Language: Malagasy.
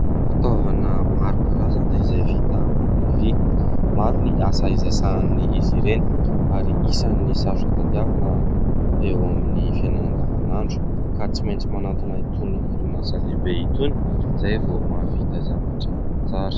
Fitaovana maro karazana izay vita amin'ny vy. Maro ny asa izay sahanin'izy ireny ary isan'ny sarotra tadiavina eo amin'ny fiainana andavanandro ka tsy maintsy manantona itony orinasa lehibe itony izay vao mahavita zavatra tsara.